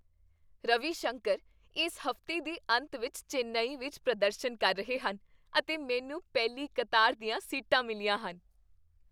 ਰਵੀ ਸ਼ੰਕਰ ਇਸ ਹਫ਼ਤੇ ਦੇ ਅੰਤ ਵਿੱਚ ਚੇਨਈ ਵਿੱਚ ਪ੍ਰਦਰਸ਼ਨ ਕਰ ਰਹੇ ਹਨ ਅਤੇ ਮੈਨੂੰ ਪਹਿਲੀ ਕਤਾਰ ਦੀਆਂ ਸੀਟਾਂ ਮਿਲੀਆਂ ਹਨ!